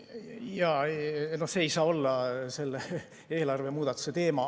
Jaa, no see ei saa olla selle eelarvemuudatuse teema.